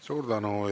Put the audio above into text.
Suur tänu!